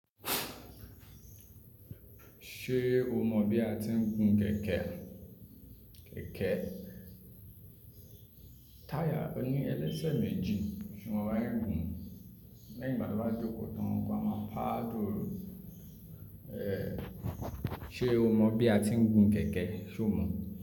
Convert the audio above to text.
Ṣé o mọ̀ bí a ti ń gun kẹ̀kẹ́? Kẹ̀kẹ́ táyà ní ẹlẹ́sẹ̀ méjì ṣo mo bi a se ń gun lẹ́yìn ìgbà tó bá jókòó tán. Mo pa á dùú. Ee, ṣe o mọ̀ bí a ti ń gun kẹ̀kẹ́? Ṣo mọ̀?